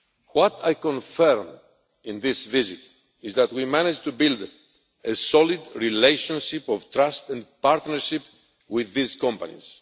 What I confirmed in this visit is that we managed to build a solid relationship of trust and partnership with these companies.